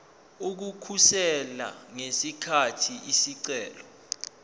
ukukhosela ngesikhathi isicelo